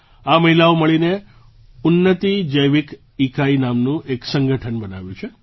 આ મહિલાઓએ મળીને ઉન્નતિ જૈવિક ઇકાઇ નામનું એક સંગઠન બનાવ્યું છે